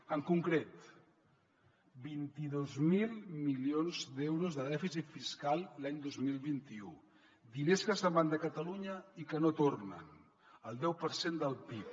en concret vint dos mil milions d’euros de dèficit fiscal l’any dos mil vint u diners que se’n van de catalunya i que no tornen el deu per cent del pib